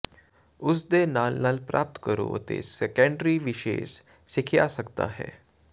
ਉਸ ਨੇ ਨਾਲ ਨਾਲ ਪ੍ਰਾਪਤ ਕਰੋ ਅਤੇ ਸੈਕੰਡਰੀ ਵਿਸ਼ੇਸ਼ ਸਿੱਖਿਆ ਸਕਦਾ ਹੈ